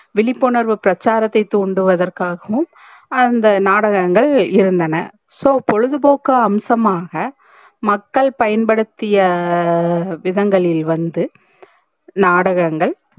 விழிப்புணர்வு பிரச்சாராத்தை தூண்டுவதர்காகவும் அந்த நாடகங்கள் இருந்தன so பொழுதுபோக்கு அம்சமாக மக்கள் பயன்படுத்திய விதங்களில் வந்து நாடகங்கள்